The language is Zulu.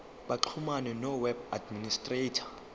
baxhumane noweb administrator